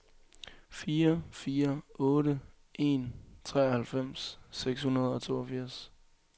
fire fire otte en treoghalvfems seks hundrede og toogfirs